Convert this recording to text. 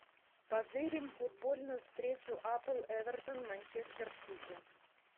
позырим футбольную встречу апл эвертон манчестер сити